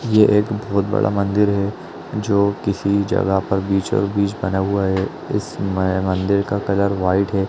ये एक बहोत बड़ा मंदिर है जो किसी जगह पर बिच-ओ-बिच बना हुआ है इसमे मंदिर का कलर व्हाइट है ।